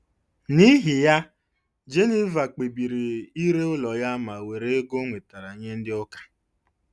N’ihi ya, Geniva kpebiri ire ụlọ ya ma were ego o nwetara nye Ndị Ụka.